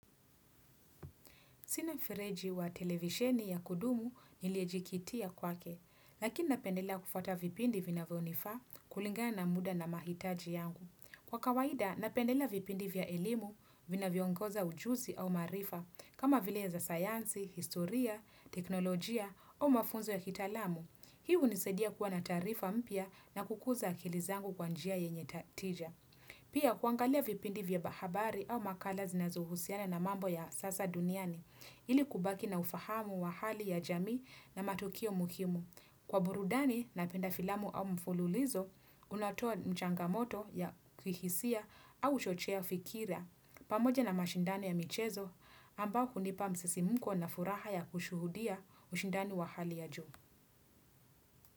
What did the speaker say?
Sina freji wa televisheni ya kudumu niliejikitia kwake, lakini napendela kufata vipindi vinavionifa kulinga na muda na mahitaji yangu. Kwa kawaida, napendela vipindi vya ilimu vina viongoza ujusi au marifa kama vile za sayansi, historia, teknolojia mafunzo ya kitalamu. Hii hunisedia kuwa na tarifa mpia na kukuza akilizangu kwanjia yenye tija. Pia kuangalia vipindi vya bahabari au makala zinazuhusiana na mambo ya sasa duniani, ili kubaki na ufahamu wa hali ya jamii na matukio muhimu. Kwa burudani napenda filamu au mfululizo, unatua mchangamoto ya kuhisia au chochea fikira. Pamoja na mashindani ya michezo, amba hunipa msesimuko na furaha ya kushuhudia ushindani wa hali ya juu.